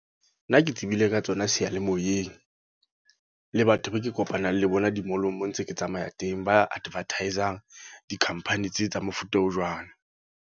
Nna ke tsebile ka tsona seyalemoyeng. Le batho be ke kopanang le bona di-mall-ong mo ntse ke tsamaya teng. Ba advertise-ang, di-company tse tsa mofuta o jwalo.